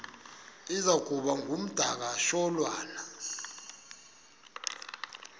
iza kuba ngumdakasholwana